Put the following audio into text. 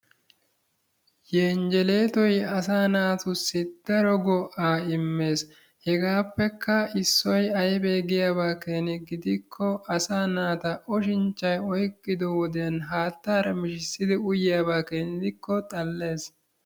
Yenjjeleetoy asaa naatussi daro go'aa immes heegaappekka issoy ayiba keena giyaaba gidikko asaa naata oshinchchay oyqqido wodiyan haattaara mishissidi uyiyaba gidikko xalle.